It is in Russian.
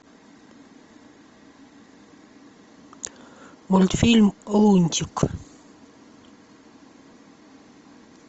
мультфильм лунтик